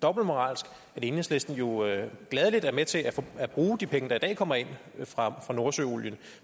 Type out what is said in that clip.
dobbeltmoralsk at enhedslisten jo gladelig er med til at bruge de penge der i dag kommer ind fra nordsøolien